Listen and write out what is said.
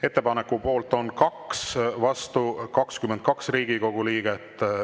Ettepaneku poolt on 2, vastu 22 Riigikogu liiget.